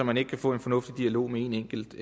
man ikke kan få en fornuftig dialog med en enkelt